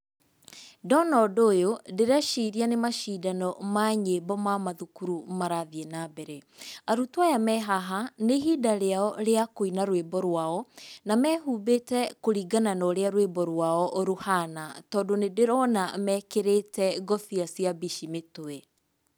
Ndona ũndũ ũyũ ndĩreciria nĩ macindano ma nyĩmbo ma mathukuru marathiĩ nambere. Arutwo aya mehaha, nĩ ihinda rĩao rĩa kũina rwĩmbo rwao na mehumbĩte kũringana norĩa rwĩmbo rwao rũhana, tondũ nĩ ndĩrona mekĩrĩte ngobia cia mbici mĩtwe.